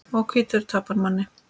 Og hvítur tapar manni.